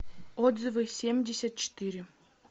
отзывы семьдесят четыре